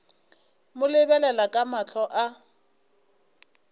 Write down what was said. mo lebelela ka mahlo a